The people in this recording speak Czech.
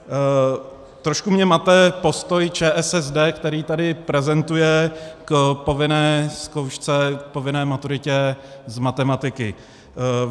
Trošku mě mate postoj ČSSD, který tady prezentuje k povinné zkoušce, k povinné maturitě z matematiky.